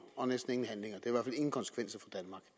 og næsten ingen handlinger